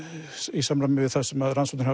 í samræmi við það sem rannsóknir